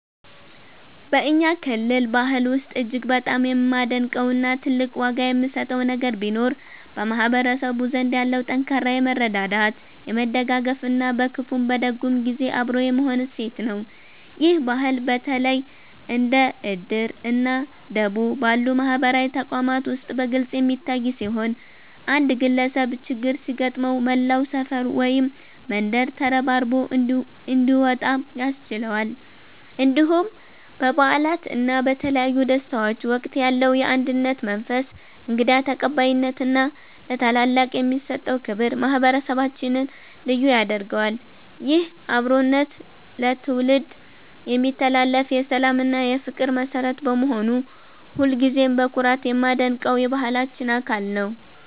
በእኛ ክልል ባህል ውስጥ እጅግ በጣም የማደንቀው እና ትልቅ ዋጋ የምሰጠው ነገር ቢኖር በማህበረሰቡ ዘንድ ያለው ጠንካራ የመረዳዳት፣ የመደጋገፍ እና በክፉም በደግም ጊዜ አብሮ የመሆን እሴት ነው። ይህ ባህል በተለይ እንደ 'እድር' እና 'ደቦ' ባሉ ማህበራዊ ተቋማት ውስጥ በግልጽ የሚታይ ሲሆን፣ አንድ ግለሰብ ችግር ሲገጥመው መላው ሰፈር ወይም መንደር ተረባርቦ እንዲወጣ ያስችለዋል። እንዲሁም በበዓላት እና በተለያዩ ደስታዎች ወቅት ያለው የአንድነት መንፈስ፣ እንግዳ ተቀባይነት እና ለታላላቅ የሚሰጠው ክብር ማህበረሰባችንን ልዩ ያደርገዋል። ይህ አብሮነት ለትውልድ የሚተላለፍ የሰላም እና የፍቅር መሠረት በመሆኑ ሁልጊዜም በኩራት የማደንቀው የባህላችን አካል ነው።